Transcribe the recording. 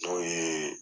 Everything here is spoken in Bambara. N'o ye